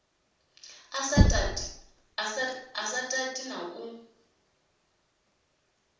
a sa tati na u